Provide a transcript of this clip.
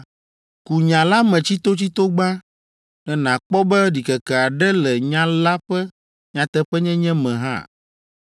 ku nya la me tsitotsito gbã, ne nàkpɔ be ɖikeke aɖe le nya la ƒe nyateƒenyenye me hã.